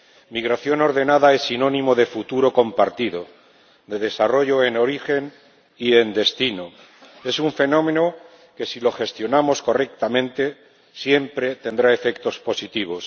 Migración ordenada es sinónimo de futuro compartido, de desarrollo en origen y en destino es un fenómeno que, si lo gestionamos correctamente, siempre tendrá efectos positivos.